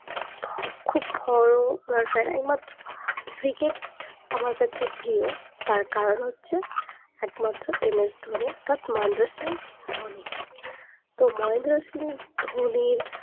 খুব বড়ো ওনার ফ্যান একমাত্র cricket আমার কাছে প্রিয় তার কারণ হচ্ছে একমাত্র MS ধোনির অর্থাৎ মহেন্দ্র সিং ধোনি তো মহেন্দ্র সিং ধোনির